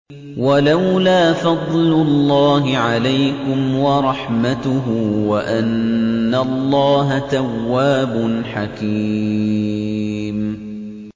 وَلَوْلَا فَضْلُ اللَّهِ عَلَيْكُمْ وَرَحْمَتُهُ وَأَنَّ اللَّهَ تَوَّابٌ حَكِيمٌ